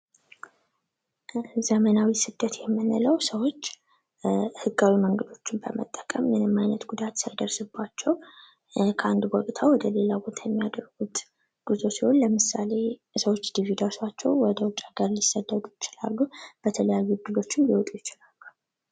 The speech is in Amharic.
ዘመናዊ ስደት የምንለው ሰዎች ህጋዊ መንገዶችን በመጠቀም ምንም አይነት ጉዳት ሳይደርስባቸው ከአንድ ቦታ ወደ ሌላ ቦታ የሚያደርጉት ጉዞ ሲሆን ለምሳሌ ሰዎች ዲቪ ደርሷቸው ወደ ውጭ ሀገር ሊሰደዱ ይችላሉ። በተለያዩ እድሎችም ሊወጡ ይችላሉ።